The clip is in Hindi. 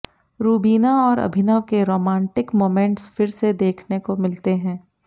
रुबीना और अभिनव के रोमांटिक मोमेंट्स फिर से देखने को मिलते हैं